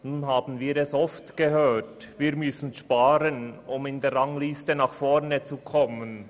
Nun haben wir oft gehört, dass wir sparen müssen, um in der Rangliste nach vorne zu kommen.